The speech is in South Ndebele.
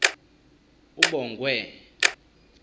ubongwe